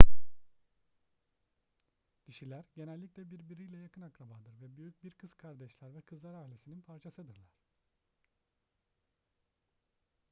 dişiler genellikle birbiriyle yakın akrabadır ve büyük bir kız kardeşler ve kızlar ailesinin parçasıdırlar